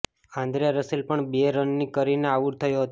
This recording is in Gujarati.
આન્દ્રે રસેલ પણ બે રન કરીને આઉટ થયો હતો